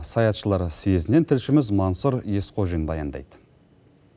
саятшылар сьезінен тілшіміз мансур есхожин баяндайды